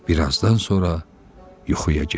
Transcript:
Bir azdan sonra yuxuya getdi.